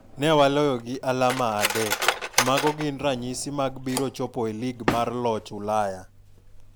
Newa loyo gi alama adek mago gin ranyisi mag biro chopo e lig mar joloch Ulaya